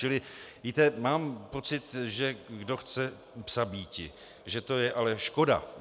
Čili víte, mám pocit, že kdo chce psa bíti... že je to ale škoda.